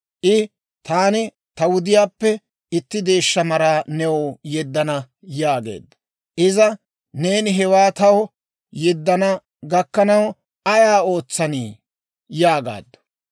I, «Taani ta wudiyaappe itti deeshsha maraa new yeddana» yaageedda. Iza, «Neeni hewaa taw yeddana gakkanaw ayaa ootsanii?» yaagaaddu.